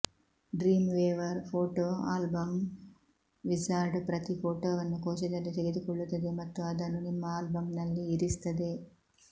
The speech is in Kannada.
ಡ್ರೀಮ್ವೇವರ್ ಫೋಟೋ ಆಲ್ಬಮ್ ವಿಝಾರ್ಡ್ ಪ್ರತಿ ಫೋಟೊವನ್ನು ಕೋಶದಲ್ಲಿ ತೆಗೆದುಕೊಳ್ಳುತ್ತದೆ ಮತ್ತು ಅದನ್ನು ನಿಮ್ಮ ಆಲ್ಬಮ್ನಲ್ಲಿ ಇರಿಸುತ್ತದೆ